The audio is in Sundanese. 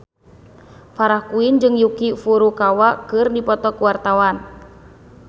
Farah Quinn jeung Yuki Furukawa keur dipoto ku wartawan